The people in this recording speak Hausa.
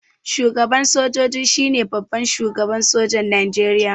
Shugaban sojoji shine babban shugaban sojan Nijeriya